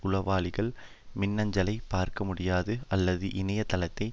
உளவாளிகள் மின்னஞ்சலைப் பார்க்க முடியாது அல்லது இணைய தளத்தை